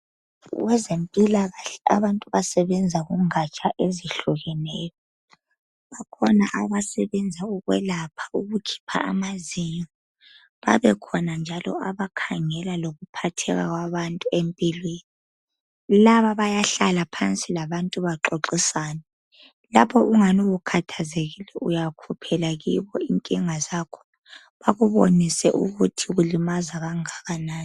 Kwezempilakahle abantu basebenza kungatsha ehlukeneyo bakhona abasebenza ukwelapha, ukukhipha amazinyo, babekhona njalo abakhangela ngokuphatheka kwabantu empilweni. Laba bayahlala phansi labantu baxoxisane Lapho ungani ukhathazekile uyakhiphela kubo inkinga zakho, bakubonise ukuthi kukulimaza kangakanani.